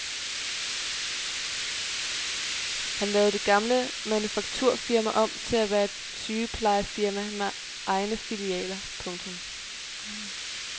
Han lavede det gamle manufakturfirma om til at være et sygeplejefirma med egne filialer. punktum